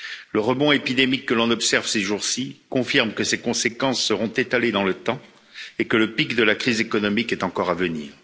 Le rebond épidémique que l'on observe ces jours ci confirme que ses conséquences seront étalées dans le temps et que le pic de la crise économique est encore à venir.